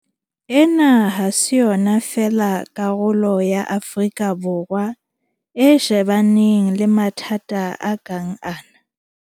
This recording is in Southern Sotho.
Ena ha se yona fela karolo ya Afrika Borwa e shebaneng le mathata a kang ana.